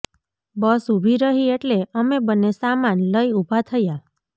બસ ઊભી રહી એટલે અમે બંને સામાન લઈ ઊભા થયા